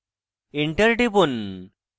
enter টিপুন